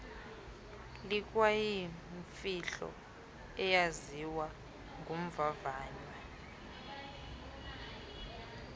likwayimfihlelo eyaziwa ngumvavanywa